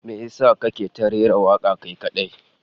Me yasa kake ta rera waka kai kadai?